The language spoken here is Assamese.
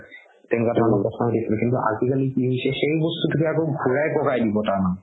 তেনেকুৱা ধৰণৰ কিন্তু আজিকালি কি হৈছে সেই বস্তুতোকে ঘুৰাই পকাই দিব তাৰমানে